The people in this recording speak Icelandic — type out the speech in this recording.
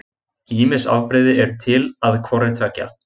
Ýmis afbrigði eru til að hvorri tveggja.